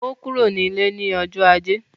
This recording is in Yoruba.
Ó kúrò ní ilé ní ọjọ́ ajé.